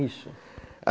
Isso.